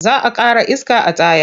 Za a ƙara iska a tayar.